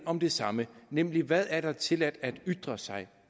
om det samme nemlig hvad det er tilladt at ytre sig